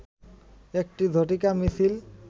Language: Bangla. একটি ঝটিকা মিছিল